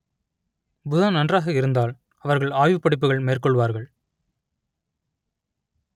புதன் நன்றாக இருந்தால் அவர்கள் ஆய்வுப் படிப்புகள் மேற்கொள்வார்கள்